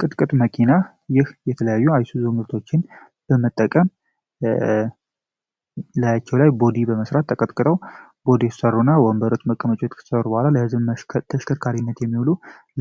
ቅጥቅጥ መኪና ይህ የተለያዩ አይሱዙ ምርቶችን በመጠቀም ላያቸው ላይ ቦዲ በመስራት ተቀጥቅጠው ይሰሩና ወንበሮች መቀመጫዎች ከተሰሩ በኋላ ተሽከርካሪነት የሚሉ